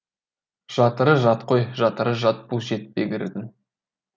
жатыры жат қой жатыры жат бұл жетпегірдің